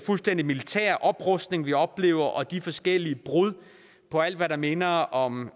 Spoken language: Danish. fuldstændig militære oprustning vi oplever og de forskellige brud på alt hvad der minder om